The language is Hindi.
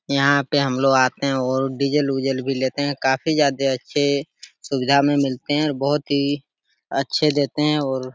यहाँ पे हम लोग आते है और डीजल उजल भी लेते है। काफी ज्यादा अच्छे सुविद्या में मिलते है और बोहोत ही अच्छे देते है और --